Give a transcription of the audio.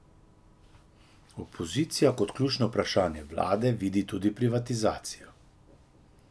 Opozicija kot ključno vprašanje vlade vidi tudi privatizacijo.